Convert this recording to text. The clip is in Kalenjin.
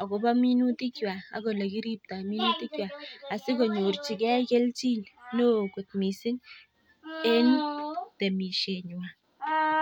agobo minutik kywak ak ole kiripto minutik kywak asikonyorjige kelchin neo kot mising en temisienywan.